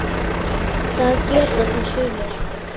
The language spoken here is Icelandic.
Það geta það sumir.